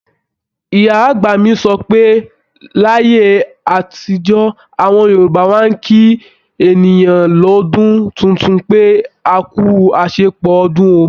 Ìyá-àgbà mi sọ pé láyé àtijó, àwọn Yorùbá máa ń kí ènìyàn lọ́dún tuntun pé, "akú àṣepọ̀ ọdún o"